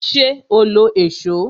Ṣé o lo èsó?